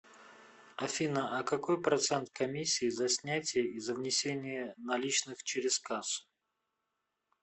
афина а какой процент комиссии за снятие и за внесение наличных через кассу